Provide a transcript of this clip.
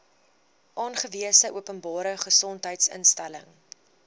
aangewese openbare gesondheidsinstelling